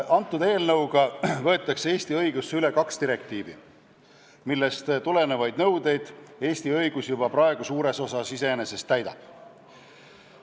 Selle eelnõuga võetakse Eesti õigusse üle kaks direktiivi, millest tulenevaid nõudeid Eesti õigus juba praegu suures osas iseenesest täidab.